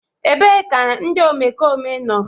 ebee ka ndị omekome nọ?